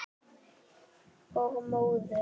Og móður.